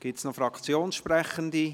Gibt es noch Fraktionssprechende?